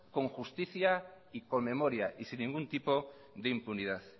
con justicia y con memoria y sin ningún tipo de impunidad